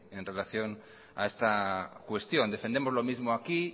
en relación a esta cuestión defendemos lo mismo aquí